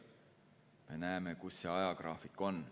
Me näeme, kui kaugel see ajagraafik on.